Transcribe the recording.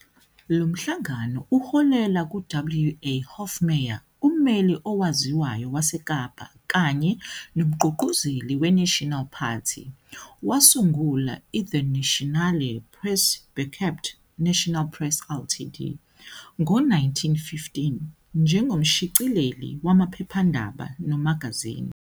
Lo mhlangano uholela ku-WA Hofmeyr, ummeli owaziwayo waseKapa kanye nomgqugquzeli weNational Party, wasungula iDe Nasionale Pers Beperkt, National Press Ltd, ngo-1915 njengomshicileli wamaphephandaba nomagazini.